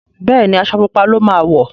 Béèni Aṣọ pupa ló má wọ.